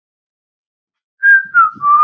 Hrærið rjóma í annarri skál.